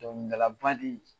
Dɔnkɛlaba de